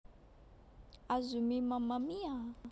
Azumi Mamma Mia